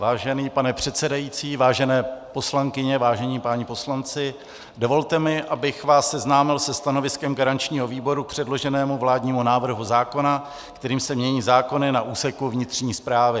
Vážený pane předsedající, vážené poslankyně, vážení páni poslanci, dovolte mi, abych vás seznámil se stanoviskem garančního výboru k předloženému vládnímu návrhu zákona, kterým se mění zákony na úseku vnitřní správy.